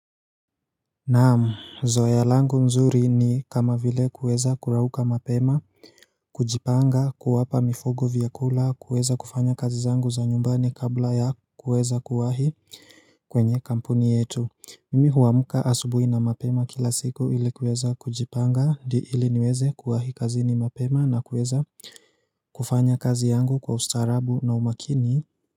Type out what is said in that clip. Naamu zoealangu nzuri ni kama vile kuweza kurauka mapema kujipanga kuwapa mifugo vyakula kuweza kufanya kazi zangu za nyumbani kabla ya kuweza kuwahi kwenye kampuni yetu Mimi huamka asubuhi na mapema kila siku ili kuweza kujipanga di ili niweze kuwahi kazi ni mapema na kuweza kufanya kazi yangu kwa ustarabu na umakini.